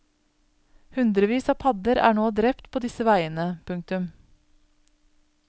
Hundrevis av padder er til nå drept på disse veiene. punktum